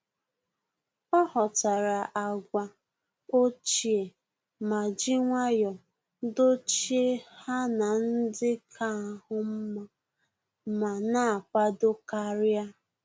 Ọ́ ghọ́tàrà àgwà ochie ma jì nwayọ́ọ̀ dọ́chíé ha na ndị kà áhụ́ mma ma nà-ákwàdò kàrị́à.